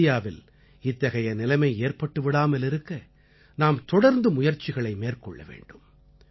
இந்தியாவில் இத்தகைய நிலைமை ஏற்பட்டு விடாமல் இருக்க நாம் தொடர்ந்து முயற்சிகளை மேற்கொள்ள வேண்டும்